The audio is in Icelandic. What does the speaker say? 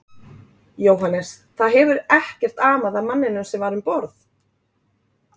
Jóhannes: Það hefur ekkert amað að manninum sem var um borð?